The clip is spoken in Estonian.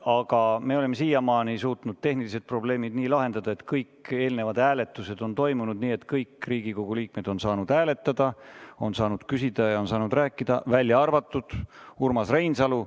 Aga me oleme siiamaani suutnud tehnilised probleemid nii lahendada, et kõik eelnevad hääletused on toimunud nii, et kõik Riigikogu liikmed on saanud hääletada, on saanud küsida ja on saanud rääkida, v.a Urmas Reinsalu.